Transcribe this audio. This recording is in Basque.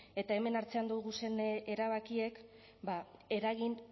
eta hemen hartzen duguzen erabakiek eragin